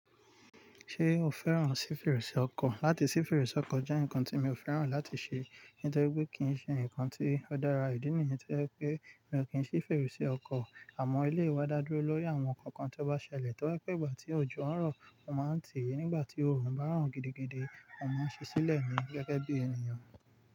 Ṣé o fẹ́ràn sí fèrèsé ọkọ̀? Láti sí fèrèsé ọkọ̀ jẹ́ nǹkan tí mi ò fẹ́ràn láti ṣe nítorí pé kì í ṣe nǹkan tí ó dára. Ìdí nìyẹn to jẹ́ pé mi ò kí n sí fèrèsé ọkọ̀. Àmọ́ eleyi wa dá dúró lórí àwọn nǹkan kan tó bá ṣẹlẹ̀. Tọ́ri pé ìgbà tí òjò ń rọ̀, mo máa ń tì í. Nígbà tí oòrùn bá ràn gidigidi, mo máa ń ṣí sílẹ̀ ní gẹ́gẹ́ bí ènìyàn.